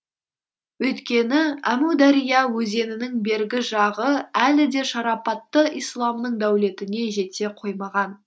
өйткені әмудария өзенінің бергі жағы әлі де шарапатты исламның дәулетіне жете қоймаған